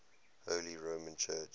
holy roman church